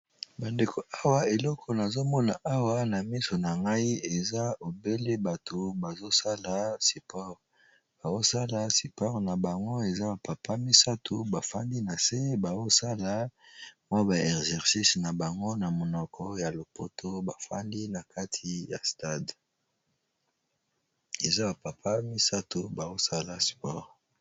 bandeko awa eleko nazomona awa na miso na ngai eza ebele bato bazosala sipore baosala sipore na bango eza ba papa misato bafandi na se baosala mwa ba exercice na bango na monoko ya lopoto bafandi na kati ya stade eza bapapa misato baosala spore